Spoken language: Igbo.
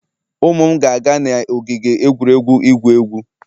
Ụmụ m ga-aga n'ogige egwuregwu igwu egwu